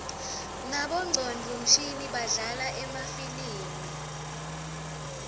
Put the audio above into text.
nabongcondvo mshini badlala emafilimi